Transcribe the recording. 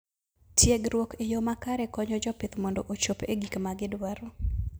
Tiegruok e yo makare konyo jopith mondo ochop e gik ma gidwaro.